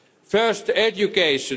First education.